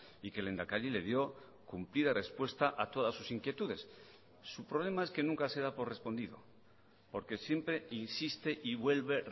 y que el lehendakari le dio cumplida respuesta a todas sus inquietudes su problema es que nunca se da por respondido porque siempre insiste y vuelve